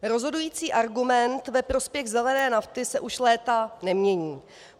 Rozhodující argument ve prospěch zelené nafty se už léta nemění.